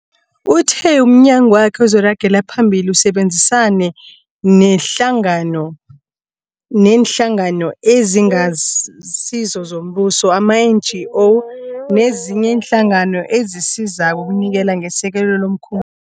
Uthe umnyagwakhe uzoragela phambili usebenzisane neeNhlangano eziNgasizo zoMbuso, ama-NGO, nezinye iinhlangano ezisizako ukunikela ngesekelo lomkhum